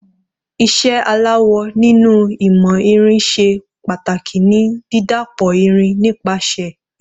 Iṣẹ́ aláwọ̀ nínú ìmọ̀ irin ṣe pàtàkì ní dídàpọ̀ irìn nípasẹ̀ ìkùn.